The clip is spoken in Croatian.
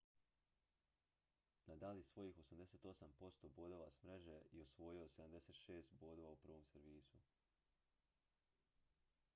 nadal je osvojio 88 % bodova s mreže i osvojio 76 bodova u prvom servisu